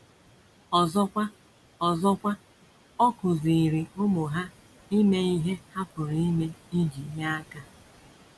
Ọzọkwa, Ọzọkwa, ọ kụziiri ụmụ ha ime ihe ha pụrụ ime iji nye aka.